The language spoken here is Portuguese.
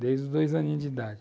desde os dois aninhos de idade.